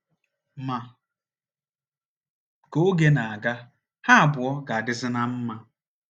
Ma, ka oge na - aga, ha abụọ ga - adịzi ná mma.